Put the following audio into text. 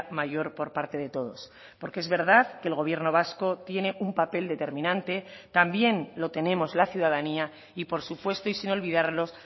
mayor por parte de todos porque es verdad que el gobierno vasco tiene un papel determinante también lo tenemos la ciudadanía y por supuesto y sin olvidarlos